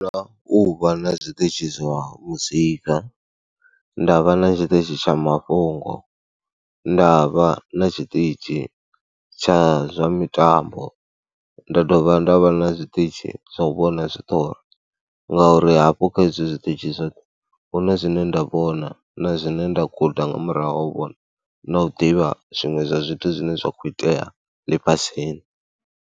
Ndi funa u vha na zwiṱitshi zwa muzika, nda vha na tshiṱitshi tsha mafhungo, nda vha na tshiṱitshi tsha zwa mitambo, nda dovha nda vha na zwiṱitshi zwa u vhona zwiṱori ngauri hafho kha hezwo zwiṱitshi zwoṱhe hu na zwine nda vhona na zwine nda guda nga murahu ha u vhona na u ḓivha zwiṅwe zwa zwithu zwine zwa khou itea ḽifhasini.